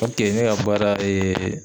ne ka baara